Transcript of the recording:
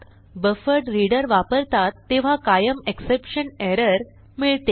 buffered reader वापरतात तेव्हा कायम एक्सेप्शन एरर मिळते